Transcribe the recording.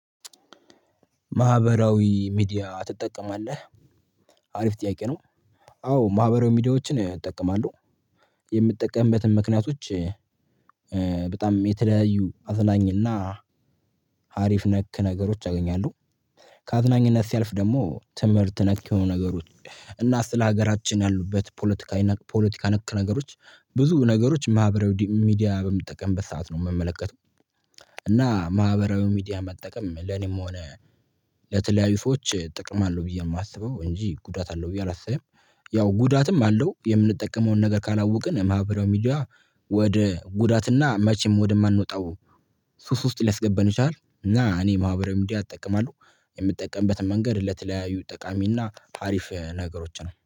ማህበራዊ ሚዲያ ትጠቀማለህ? አሪፍ ጥያቄ ነው። አዎ ማህበራዊ ሚዲያዎችን እጠቀማለሁ። የምጠቀምበትን ምክንያቶች በጣም የተለያዩ አዝናኝ እና ሀሪፍ ነክ ነገሮች አገኛለሁ። ከአዝናኝነት ሲያልፍ ደግሞ ትምህርት ነክ የሆኑ ነገሮች እና ስለሀገራችን ያሉበት ፖለቲካዊ ና ፖለቲካ ነክ ነገሮች ብዙ ነገሮች ማህበራዊ ሚዲያ በምጠቀምበት ሰዓት ነው የምመለከተው። እና ማህበራዊ ሚዲያ መጠቀም ለኔም ሆነ ለተለያዩ ሰዎች ጥቅም አለው ብየ ነው የማስበው እንጂ ጉዳት አለው ብየ አላስብም። ያው ጉዳትም አለው። የምንጠቀመውን ነገር ካላውቅን ማህበራዊ ሚዲያ ወደ ጉዳት እና መቸም ወደማንወጣው ሱሱስ ሊያስገባን ይችላል። እና እኔ ማህበራዊ ሚዲያ እጠቀማለሁ። የምጠቀምበት መንገድ ለተለያዩ ጠቃሚ እና ሀሪፍ ነገሮች ነው።